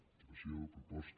situació proposta